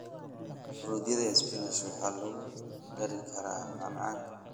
Fruityada peach waxaa lagu dari karaa macmacaanka.